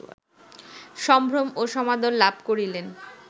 সম্ভ্রম ও সমাদর লাভ করিলেন